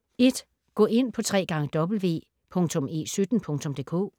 Gå ind på www.e17.dk